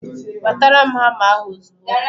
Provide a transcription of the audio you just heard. Wetara m hama ahụ ozugbo